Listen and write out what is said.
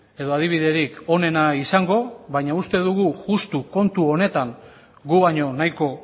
edo adibiderik onena izango baina uste dugu justu kontu honetan gu baino nahiko